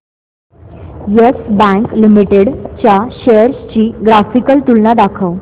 yes Bank Limited च्या shares ची graphical तुलना दाखव